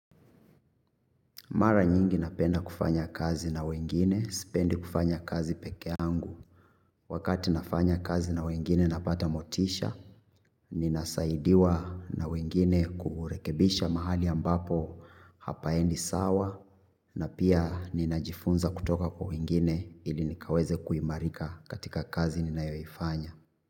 Mara nyingi napenda kufanya kazi na wengine, sipendi kufanya kazi peke yangu. Wakati nafanya kazi na wengine napata motisha, ninasaidiwa na wengine kurekebisha mahali ambapo hapaendi sawa. Na pia ninajifunza kutoka kwa wengine ili nikaweze kuimarika katika kazi ninayoifanya.